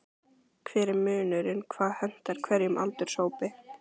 Hver er munurinn, hvað hentar hverjum aldurshópi?